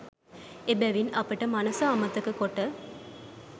එබැවින් අපට මනස අමතක කොට